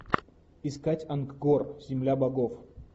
искать ангкор земля богов